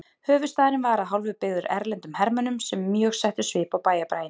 Höfuðstaðurinn var að hálfu byggður erlendum hermönnum sem mjög settu svip á bæjarbraginn.